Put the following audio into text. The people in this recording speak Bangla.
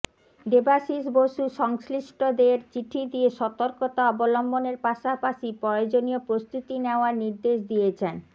দেবাশিস বসু সংশ্লিষ্টদের চিঠি দিয়ে সতর্কতা অবলম্বনের পাশাপাশি প্রয়োজনীয় প্রস্তুতি নেওয়ার নির্দেশ দিয়েছেন